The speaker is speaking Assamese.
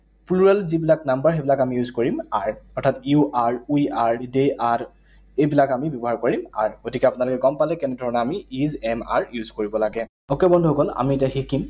Plural যিবিলাক number সেইবিলাক আমি use কৰিম are, অৰ্থাৎ you are, we are, they are, এইবিলাক আমি ব্যৱহাৰ কৰিম are । গতিকে আপোনালোকে গম পালে কেনে ধৰণেৰে আমি is, am, are use কৰিব লাগে। Okay বন্ধুসকল, আমি এতিয়া শিকিম